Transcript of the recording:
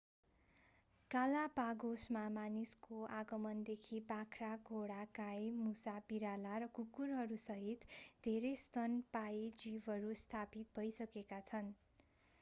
गलापागोसमा मानिसको आगमनदेखि बाख्रा घोडा गाई मुसा बिराला र कुकुरहरूसहित धेरै स्तनपायी जीवहरू स्थापित भइसकेका छन्